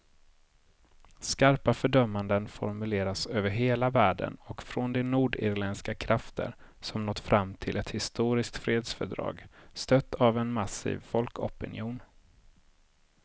Skarpa fördömanden formuleras över hela världen och från de nordirländska krafter som nått fram till ett historiskt fredsfördrag, stött av en massiv folkopinion.